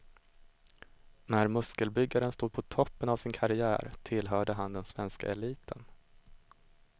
När muskelbyggaren stod på toppen av sin karriär tillhörde han den svenska eliten.